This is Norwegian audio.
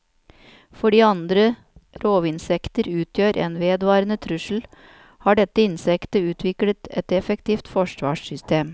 Fordi andre rovinsekter utgjør en vedvarende trussel, har dette insektet utviklet et effektivt forsvarssystem.